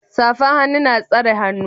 safan hannu na tsare hannun